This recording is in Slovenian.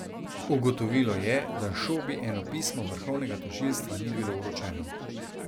Ugotovilo je, da Šobi eno pismo vrhovnega tožilstva ni bilo vročeno.